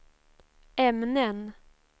ämnen